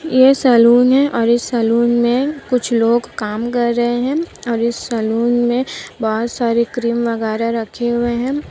ये सलून है और इस सलून मे कुछ लोग काम कर रहे है और इस सलून मे बहुत सारी क्रीम वगेराह रखे हुई है।